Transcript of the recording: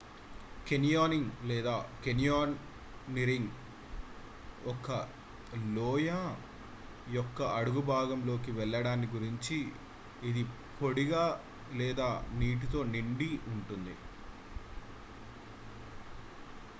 canyoning లేదా canyoneering ఒక లోయ యొక్క అడుగుభాగంలో కి వెళ్ళడాన్ని గురించి ఇది పొడిగా లేదా నీటితో నిండి ఉంటుంది